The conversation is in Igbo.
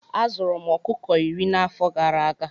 Azụrụ m ọkụkọ iri na afọ gara aga